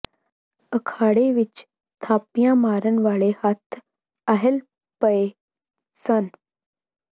ਅਖਾੜੇ ਵਿੱਚ ਥਾਪੀਆਂ ਮਾਰਨ ਵਾਲੇ ਹੱਥ ਅਹਿਲ ਪਏ ਸਨ